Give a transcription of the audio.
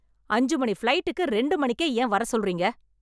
அஞ்சு மணி ஃபிளைட்க்கு ரெண்டு மணிக்கே ஏன் வரசொல்றீங்க?